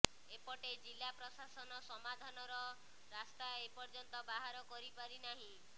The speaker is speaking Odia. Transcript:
ଏପଟେ ଜିଲ୍ଲା ପ୍ରଶାସନ ସମାଧାନର ରାସ୍ତା ଏ ପର୍ଯ୍ୟନ୍ତ ବାହାର କରିପାରି ନାହିଁ